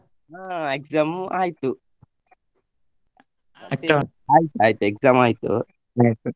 ಹಾ exam ಉ ಆಯ್ತು ಆಯ್ತು ಆಯ್ತು exam ಆಯ್ತು